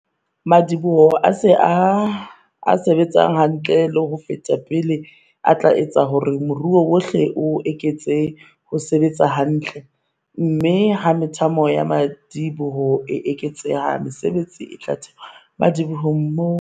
Madiboho a se-betsang hantle ho feta pele a tla etsa hore moruo wohle o eketse ho sebetsa hantle - mme ha methamo ya madi-boho e eketseha, mesebetsi e tla thewa madibohong moo.